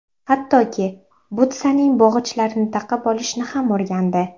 Hattoki, butsaning bog‘ichlarini taqib olishni ham o‘rgandi.